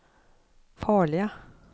farlige